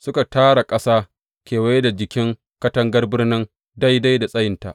Suka tara ƙasa kewaye da jikin katangar birnin daidai da tsayinta.